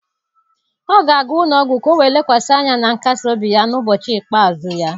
Ọ ga-aga ụlọ ọgwụ ka o wee lekwasị anya na nkasi obi ya n'ụbọchị ikpeazụ ya.